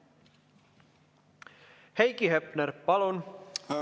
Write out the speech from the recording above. Heiki Hepner, palun!